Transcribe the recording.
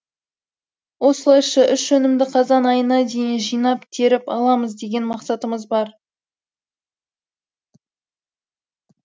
осылайша үш өнімді қазан айына дейін жинап теріп аламыз деген мақсатымыз бар